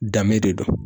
Danbe de don